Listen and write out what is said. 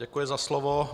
Děkuji za slovo.